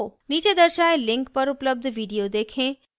नीचे दर्शाये link पर उपलब्ध video देखें